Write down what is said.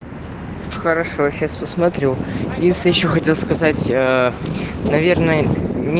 хорошо сейчас посмотрю если ещё хотел сказать наверное не